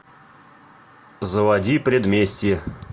заводи предместье